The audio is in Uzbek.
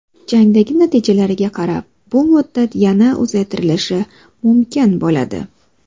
Jangdagi natijalarga qarab bu muddat yana uzaytirilishi mumkin bo‘ladi.